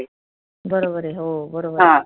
बरोबर आहे हो